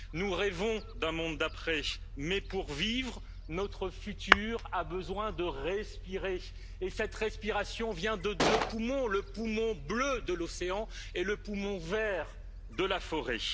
Nous rêvons d'un monde d'après mais pour vivre, notre avenir a besoin de respirer et cette respiration vient de deux poumons le poumon bleu de l'océan et le poumon vert de la forêt.